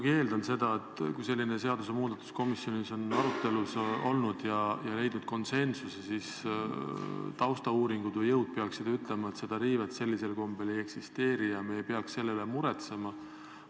Ma eeldan muidugi seda, et kui selline seadusmuudatus komisjonis on arutelu all olnud ja on leitud konsensus, siis taustauuringud või -jõud peaksid ütlema, et seda riivet sellisel kombel ei eksisteeri ja me ei peaks selle üle muretsema.